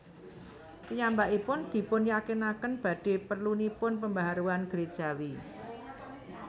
Piyambakipun dipunyakinaken badhe perlunipun pembaharuan gerejawi